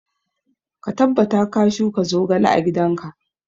Ka tabbata ka shuka zogale a gidan ka!